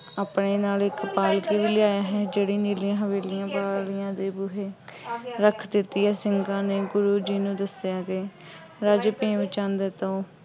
ਆਪਣੇ ਨਾਲ ਇੱਕ ਪਾਲਕੀ ਵੀ ਲਿਆਇਆ ਹੈ। ਜਿਹੜੀ ਨੀਲੀਆ ਹਵੇਲੀਆਂ ਵਾਲੀਆਂ ਦੇ ਬੂਹੇ ਰੱਖ ਦਿੱਤੀ ਹੈ। ਸਿੰਘਾਂ ਨੇ ਗੁਰੂ ਜੀ ਨੂੰ ਦੱਸਿਆ ਅਤੇ ਰਾਜੇ ਭੀਮ ਚੰਦ ਤੋਂ